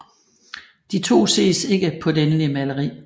De to ses ikke på det endelige maleri